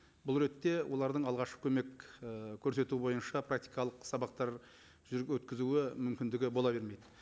бұл ретте олардың алғашқы көмек і көрсету бойынша практикалық сабақтар өткізуі мүмкіндігі бола бермейді